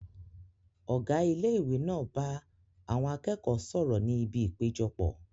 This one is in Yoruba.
Ọ̀gá ilé ìwé náà bá àwọn akẹ́kọ̀ọ́ sọ̀rọ̀ ní ibi ìpéjọpọ̀